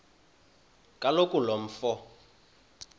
kaloku lo mfo